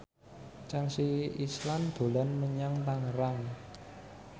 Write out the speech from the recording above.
Chelsea Islan dolan menyang Tangerang